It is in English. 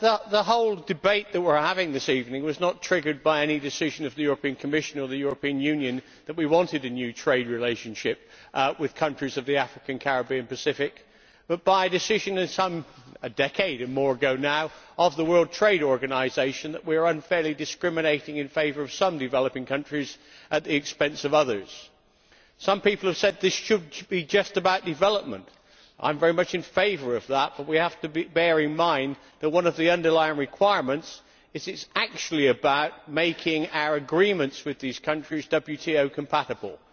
The whole debate that we are having this evening was not triggered by any decision of the European Commission or the European Union that we wanted a new trade relationship with the countries of the African, Caribbean and Pacific, but by a decision a decade or more or so now of the World Trade Organisation that we were unfairly discriminating in favour of some developing countries at the expense of others. Some people have said that this should be just about development I am very much in favour of that but we have to bear in mind that one of the underlying requirements is that it is actually about making our agreements with these countries WTO compatible.